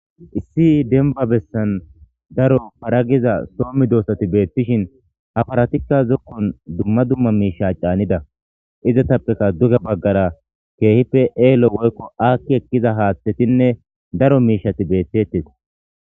Issi dembba bessan daro para giza so meedosathi beeththishin ha parathikka zokkuwan dumma dumma miishshaa caanida;izathapekka duge baggara keehippe eelo woykko aakki ekkida haaththethinne daro miishshathi beeththeeththes.